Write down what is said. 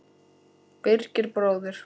Birgir bróðir.